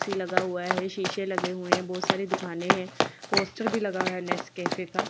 AC लगा हुआ है शीशे लगे हुए हैं बहुत सारी दुकानें हैं पोस्टर भी लगा हुआ है नेस कैफे का।